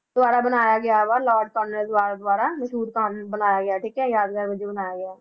ਦੁਆਰਾ ਬਣਾਇਆ ਗਿਆ ਵਾ ਲਾਰਡ ਕਾਰਨਵਾਲਿਸ ਦੁਆਰਾ ਮਸ਼ਹੂਰ ਬਣਾਇਆ ਗਿਆ ਠੀਕ ਹੈ ਯਾਦਗਾਰ ਵਜੋਂ ਬਣਾਇਆ ਗਿਆ